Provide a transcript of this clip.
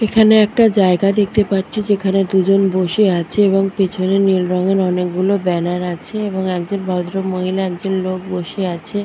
এখানে একটা জায়গা দেখতে পাচ্ছি যেখানে দুজন বসে আছে এবং পেছনে নীল রঙের অনেকগুলো ব্যানার আছে এবং একজন ভদ্রমহিলা একজন লোক বসে আছে।